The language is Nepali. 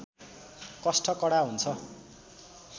कष्ट कडा हुन्छ